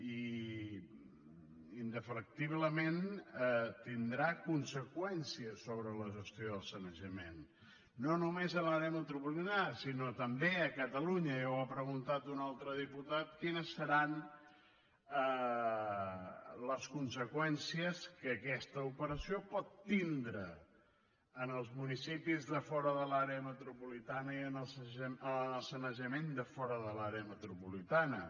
i indefectiblement tindrà conseqüències sobre la gestió del sanejament no només a l’àrea metropolitana sinó també a catalunya ja ho ha preguntat un altre diputat quines seran les conseqüències que aquesta operació pot tindre en els municipis de fora de l’àrea metropolitana i en el sanejament de fora de l’àrea metropolitana